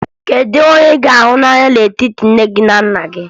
Kedu onye ị ka hụ n'anya n'etiti nne gị na nna gị?